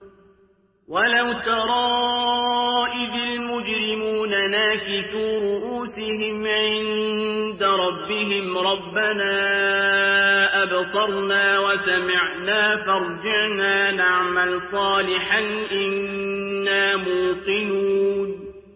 وَلَوْ تَرَىٰ إِذِ الْمُجْرِمُونَ نَاكِسُو رُءُوسِهِمْ عِندَ رَبِّهِمْ رَبَّنَا أَبْصَرْنَا وَسَمِعْنَا فَارْجِعْنَا نَعْمَلْ صَالِحًا إِنَّا مُوقِنُونَ